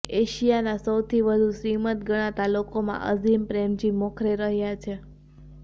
એશિયાના સૌથી વધુ શ્રીમંત ગણાતા લોકોમાં અઝીમ પ્રેમજી મોખરે રહ્યા છે